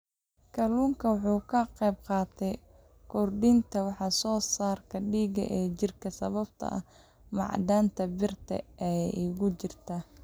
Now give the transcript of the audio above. Kalluunku waxa uu ka qaybqaataa kordhinta wax soo saarka dhiigga ee jidhka sababtoo ah macdanta birta ah ee ku jirta.